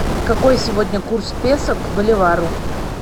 какой сегодня курс песо к боливару